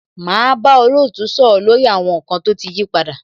Máa bá olootu sọ̀rọ̀ lórí àwọn nkan tó ti yí padà.